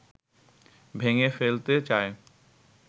ভেঙে ফেলতে চায়